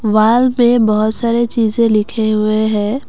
Wall पे बहोत सारे चीजे लिखे हुए है।